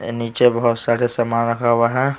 नीचे बहुत सारे सामान रखा हुआ है।